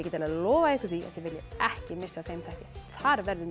lofað ykkur því að þið viljið ekki missa af þeim þætti þar verður